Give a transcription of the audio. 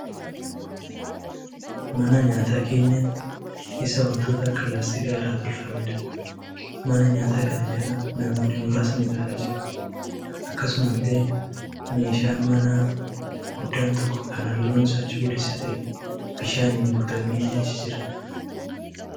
Mana nyaataa keenyan isaa wantoota akka laastikaa irraa tolfameedha. Mana nyaataa kana jala namoonni muraasni ta'aa jiru. Akkasumallee meeshaan manaa guddaan tokko kan halluun isaa cuquliisa ta'e bishaaniin guutamee achi jira.